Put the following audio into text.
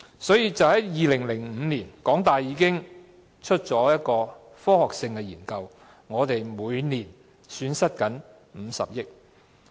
換言之，在2005年，港大已經發表了一份科學性的研究，指出香港每年正損失50億元。